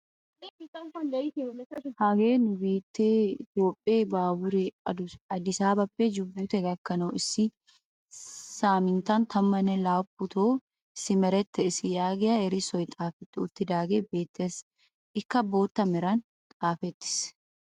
hagee nu biittee itoophphee baaburee adisaabappe juubute gakkanwu issi saminttan tammanne laaputto simerettees yaagiyaa erissoy xaafetti uttidaagee beettees. ikka bootta meraan xaafettiis.